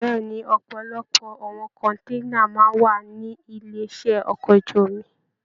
Bẹ̀ẹ́ni, ọpọlọpọ àwọn kọ̀nténà máa n wà nílé iṣẹ ọkọ̀ ojú omi.